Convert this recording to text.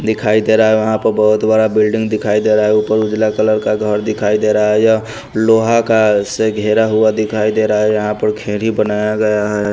दिखाई दे रा है वहा पर बहुत बड़ा बिल्डिंग दिखाई दे रा है ऊपर उजाला कलर का घर दिखाई दे रा है यह लोहा का से घेरा हुआ दिखाई दे रा है यहां पर खेरी बनाया गया हैं।